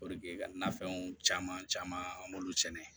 ka nafɛnw caman caman an b'olu sɛnɛ